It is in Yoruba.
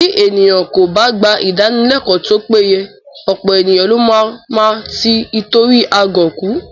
Bí ènìyàn kò bá gba Ìdánilẹ́kọ̀ọ́ tó péye, ọ̀pọ̀ ènìyàn ló má máa tí itori agọ̀ kú